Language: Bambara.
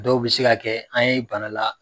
Dɔw be se ka kɛ an ye bana la